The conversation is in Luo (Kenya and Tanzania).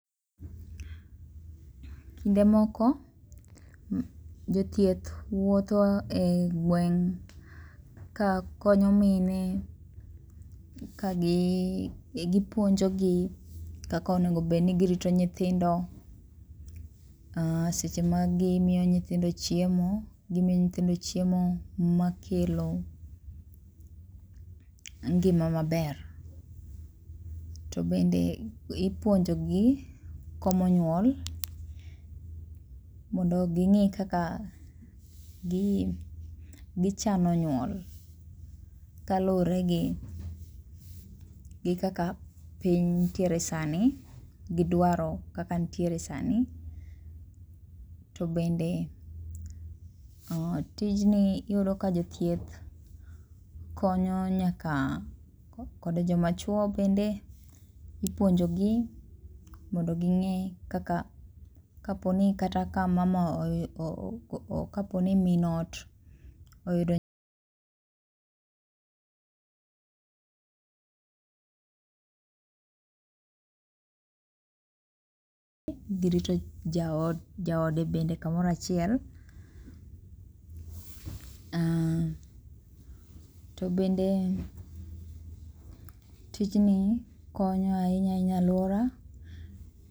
Kinde moko jothieth wuotho e gweng' ka konyo mine ka gipuonkogi kaka onego bed nigirito nyithindo, seche ma gimiyo nyithindo chiemo, gimiyo nyithindo chiemo makelo ngima maber. To bende ipuonjogi komo nyuol mondo ging'i kaka gichano nyuol kaluwore gi gi kaka piny nitiere sani gi dwaro kaka nitiere sani to bende tijni iyudo ka jothieth konyo nyaka kod joma chuo bende ipuonjo gi mondo ging'e kaka kaponi kata ka mama kaponi min ot yudo nya girito jaode bende kamoro achiel to bende tijni konyo ahinya ahinya e aluora